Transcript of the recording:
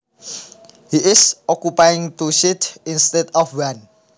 He is occupying two seats instead of one